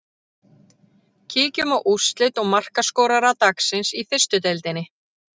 Kíkjum á úrslit og markaskorara dagsins í fyrstu deildinni.